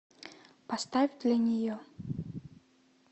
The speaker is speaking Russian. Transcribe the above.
поставь для нее